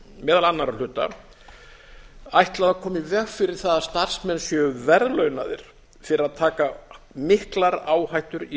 meðal annarra hluta ætlað að koma í veg fyrir það að starfsmenn séu verðlaunaðir fyrir að taka miklar áhættur í